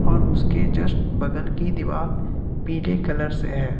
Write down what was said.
और उसके जस्ट बगल की दीवार पीले कलर से है।